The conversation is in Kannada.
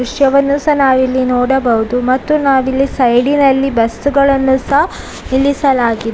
ರಿಕ್ಷಾವನ್ನು ಸಹ ನಾವಿಲ್ಲಿ ನೋಡಬಹುದು ಮತ್ತು ನಾವಿಲ್ಲಿ ಸೈಡಿನಲ್ಲಿ ಬಸ್‌ ಗಳನ್ನು ಸಹ ನಿಲ್ಲಿಸಲಾ --